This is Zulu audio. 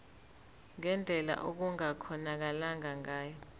ngendlela okungakhonakala ngayo